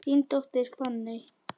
Þín dóttir, Fanney.